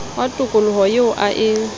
wa tokoloho eo a e